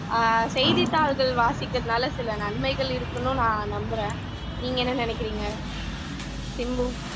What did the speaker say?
அஹ் செய்திதாள்கள் வாசிக்கிறதுனால சில நன்மைகள் இருக்குனும் நான் நம்புறேன் நீங்க என்ன நினைக்கிறீங்க சிம்பு